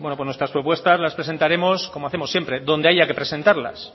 bueno nuestras propuestas las presentaremos como hacemos siempre donde haya que presentarlas